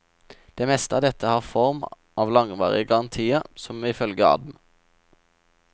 Det meste av dette har form av langvarige garantier, som ifølge adm.